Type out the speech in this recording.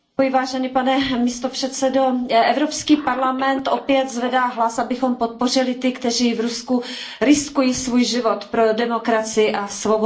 Pane předsedající, Evropský parlament opět zvedá hlas, abychom podpořili ty, kteří v Rusku riskují svůj život pro demokracii a svobodu.